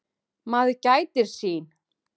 Maður gætir sín.